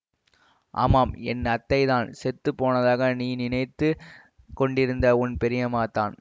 ஆமாம் என் அத்தைத்தான் செத்து போனதாக நீ நினைத்து கொண்டிருந்த உன் பெரியம்மாதான்